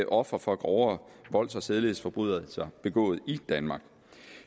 ofre for grovere volds og sædelighedsforbrydelser begået i danmark